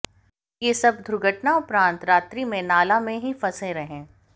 यह सब दुर्घटना उपरांत रात्रि में नाला में ही फंसे रहे